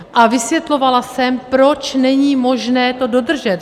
A vysvětlovala jsem, proč není možné to dodržet.